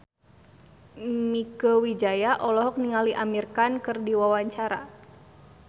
Mieke Wijaya olohok ningali Amir Khan keur diwawancara